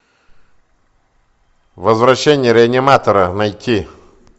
возвращение реаниматора найти